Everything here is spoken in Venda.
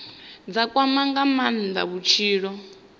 dza kwama nga maanda vhutshilo